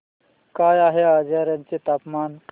काय आहे आजर्याचे तापमान